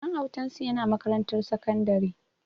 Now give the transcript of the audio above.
Ɗan autansu yana makarantar sakandare